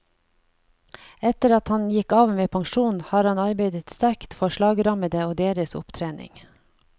Etter at han gikk av med pensjon, har han arbeidet sterkt for slagrammede og deres opptrening.